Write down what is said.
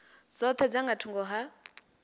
dzoṱhe dza nga thungo ha